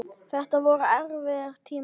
Þetta voru erfiðir tímar.